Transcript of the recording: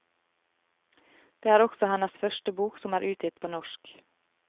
Det er også hennes første bok som er utgitt på norsk.